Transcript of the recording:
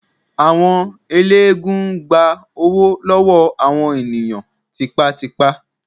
Àwọn ẹlẹ́gùn-ún gbá owó lọ́wọ́ àwọn ènìyàn tipátipá.